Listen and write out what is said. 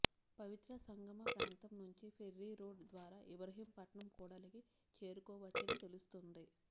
పవిత్ర సంగమ ప్రాంతం నుంచి ఫెర్రీ రోడ్డు ద్వారా ఇబ్రహీంపట్నం కూడలికి చేరుకోవచ్చని తెలుస్తుంది